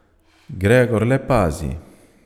Gregor le pazi.